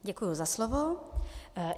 Děkuji za slovo.